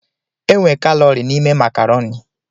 E nwe kalọri n'ime makarọni.